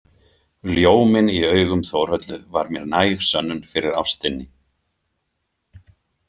Ljóminn í augum Þórhöllu var mér næg sönnun fyrir ástinni.